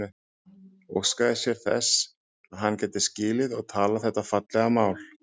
Óskaði sér þess að hann gæti skilið og talað þetta fallega mál.